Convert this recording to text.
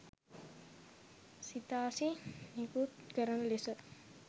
සිතාසි නිකුත් කරන ලෙස